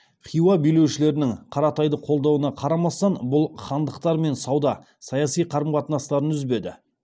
хиуа билеушілерінің қаратайды қолдауына қарамастан бұл хандықтармен сауда саяси қарым қатынастарын үзбеді